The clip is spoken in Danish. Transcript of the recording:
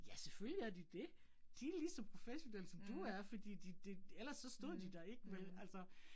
Ja, selvfølgelig er de det. De ligeså professionelle som du er fordi de det, ellers så stod de der ikke vel altså